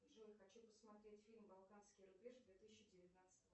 джой хочу посмотреть фильм балканский рубеж две тысячи девятнадцатого